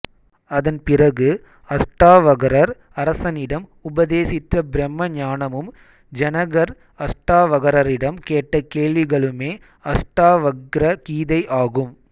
அதன் பிறகு அஷ்டாவகரர் அரசனிடம் உபதேசித்த பிரம்ம ஞானமும் ஜனகர் அஷ்டாவகரரிடம் கேட்ட கேள்விகளுமே அஷ்டாவக்ர கீதை ஆகும்